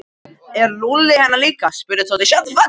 Er Lúlli hérna líka? spurði Tóti.